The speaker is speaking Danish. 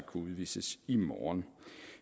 kunne udvises i morgen